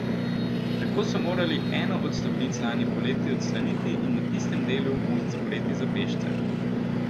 Tako so morali eno od stopnic lani poleti odstraniti in na tistem delu most zapreti za pešce.